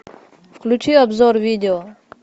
включи обзор видео